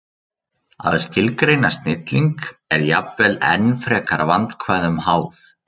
Að skilgreina snilling er jafnvel enn frekar vandkvæðum háð.